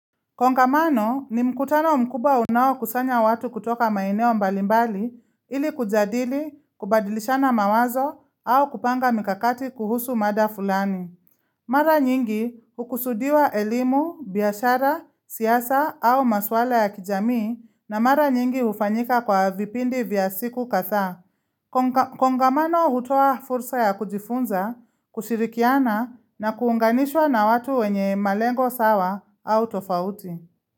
Kongamano ni mkutano mkubwa unaokusanya watu kutoka maeneo mbalimbali ili kujadili, kubadilishana mawazo au kupanga mikakati kuhusu mada fulani. Mara nyingi hukusudiwa elimu, biashara, siasa au maswala ya kijamii na mara nyingi hufanyika kwa vipindi vya siku kadhaa. Kongamano hutoa fursa ya kujifunza, kushirikiana na kuunganishwa na watu wenye malengo sawa au tofauti.